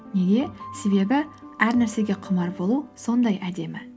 неге себебі әр нәрсеге құмар болу сондай әдемі